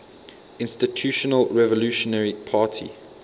institutional revolutionary party